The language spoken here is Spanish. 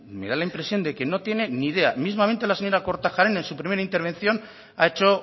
me da la impresión de que no tiene ni idea mismamente la señora kortajarena en su primera intervención ha hecho